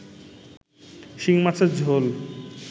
শিংমাছের ঝোল